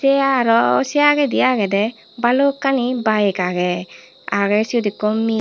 te aro se agedi agede balukkani bike agey agey siot ekko mih.